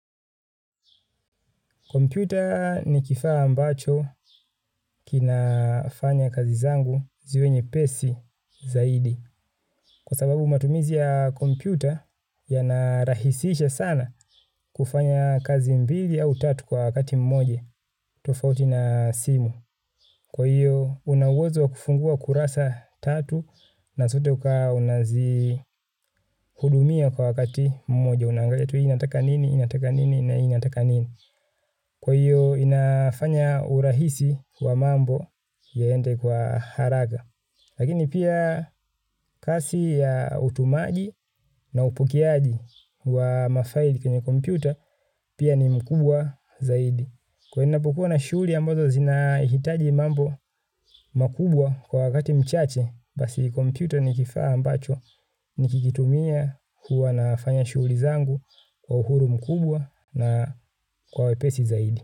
Kompyuta ni kifaa ambacho kinafanya kazi zangu ziwe nyepesi zaidi kwa sababu matumizi ya kompyuta yanarahisisha sana kufanya kazi mbili au tatu kwa wakati mmoja tofauti na simu. Kwa hiyo una uwezo wa kufungua kurasa tatu na zote ukawa unazihudumia kwa wakati mmoja. Naangalia tu inataka nini, inataka nini na inataka nini. Kwa hiyo inafanya urahisi wa mambo yaende kwa haraka. Lakini pia kasi ya utumaji na upokeaji wa mafaili kwenye kompyuta pia ni mkubwa zaidi. Kwa hiyo ninapokuwa na shughuli ambazo zinahitaji mambo makubwa kwa wakati mchache basi kompyuta ni kifaa ambacho nikikitumia huwa nafanya shughuli zangu kwa uhuru mkubwa na kwa wepesi zaidi.